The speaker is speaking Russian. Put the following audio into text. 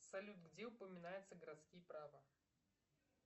салют где упоминается городские право